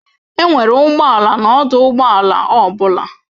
Enwere ụgbọ ala na ọdụ ụgbọ ala ọ bụla.